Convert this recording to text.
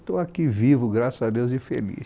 Estou aqui vivo graças a Deus e feliz